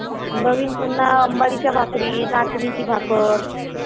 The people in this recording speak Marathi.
नवीन पुन्हा अंबाडीच्या भाकरी नाचणीची भाकर.